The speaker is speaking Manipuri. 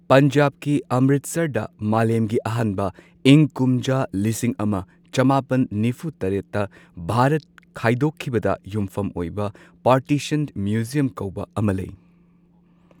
ꯄꯟꯖꯥꯕꯀꯤ ꯑꯝꯔꯤꯠꯁꯔꯗ ꯃꯥꯂꯦꯝꯒꯤ ꯑꯍꯥꯟꯕ ꯏꯪ ꯀꯨꯝꯖꯥ ꯂꯤꯁꯤꯡ ꯑꯃ ꯆꯃꯥꯄꯟ ꯅꯤꯐꯨ ꯇꯔꯦꯠꯇ ꯚꯥꯔꯠ ꯈꯥꯏꯗꯣꯛꯈꯤꯕꯗ ꯌꯨꯝꯐꯝ ꯑꯣꯏꯕ ꯄꯥꯔꯇꯤꯁꯟ ꯃ꯭ꯌꯨꯖꯤꯌꯝ ꯀꯧꯕ ꯑꯃꯁꯨ ꯂꯩ꯫